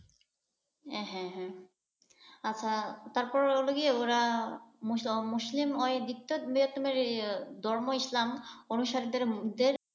হ্যাঁ হ্যাঁ । আচ্ছা তারপরে হলো গিয়ে ওরা মুসলিম ওই দ্বিতীয় বৃহত্তম ধর্ম ইসলাম অনুসারীদের,